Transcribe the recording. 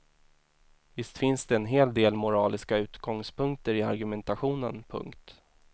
Visst finns det en hel del moraliska utgångspunkter i argumentationen. punkt